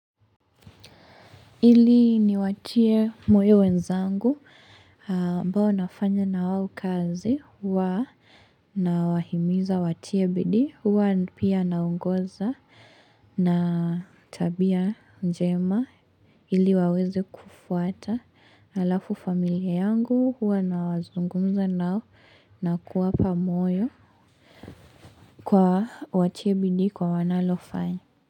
Ili niwatie moyo wenzangu ambao nafanya na wao kazi huwa nawahimiza watie bidii huwa pia naongoza na tabia njema ili waweze kufuata alafu familia yangu huwa nazungumza nao na kuwapa moyo kwa watie bidii kwa wanalofanya.